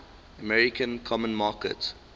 american common market